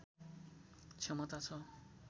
क्षमता छ